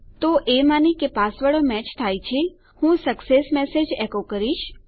તો એ માની કે પાસવર્ડો મેચ થાય છે હું સક્સેસ મેસેજ એકો કરીશ